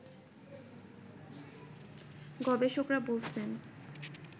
গবেষকরা বলছেন